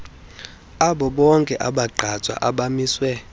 abobonke abagqatswa abamiswe